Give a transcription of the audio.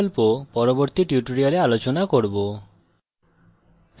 অন্যান্য বিকল্প পরবর্তী tutorials আলোচনা করা হবে